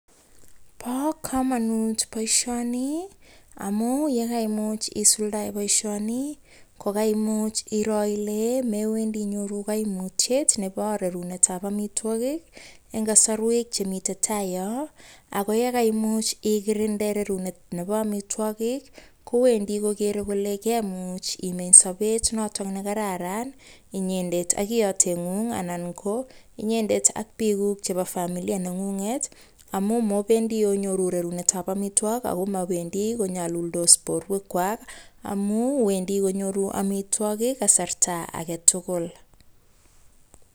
Bo komanut boishoni amun yekaimuch isuldae boishoni kokairo ile mewendi inyoru koimutyet nebo rerunetab amitwagik eng kasarwek chemitei tai yo. Ako yekaimuch igirinde rerunetab amitwagik, kowendi kogerei kole kemuch imeny sobet notok nekararan inyendet ak iyoteng'ung anan ko inyendet ak pikuk chebo familia neng'unget amun mobendi ongiru rirunetab amitwagik ako mabendi konyoluldos borwekwak amu wendi kinyoru amitwagik eng kasarta agetugul.